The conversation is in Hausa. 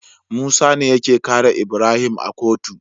Musa ne yake kare Ibrahim a kotu